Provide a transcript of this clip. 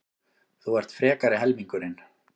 Þú ert frekari helmingurinn.